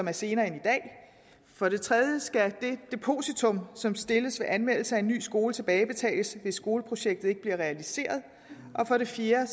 er senere end i dag for det tredje skal det depositum som stilles ved anmeldelse af en ny skole tilbagebetales hvis skoleprojektet ikke bliver realiseret og for det fjerde